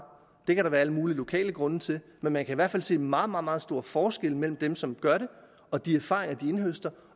det kan der være alle mulige lokale grunde til men man kan i hvert fald se meget meget store forskelle mellem dem som gør det og de erfaringer de indhøster